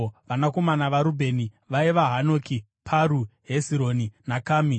Vanakomana vaRubheni vaiva: Hanoki, Paru, Hezironi naKami.